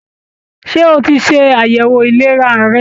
Ṣé o tí ṣe àyẹwò ìlera rẹ?